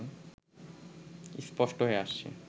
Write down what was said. স্পষ্ট হয়ে আসছে